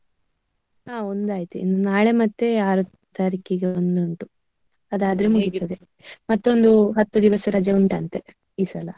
ಹ ಒಂದು ಆಯ್ತು. ಇನ್ನು ನಾಳೆ ಮತ್ತೆ ಆರು ತಾರೀಕಿಗೆ ಒಂದು ಉಂಟು. ಅದಾದ್ರೆ ಮುಗಿತದೆ ಮತ್ತೊಂದು ಹತ್ತು ದಿವಸ ರಜೆ ಉಂಟಂತೆ ಈ ಸಲ.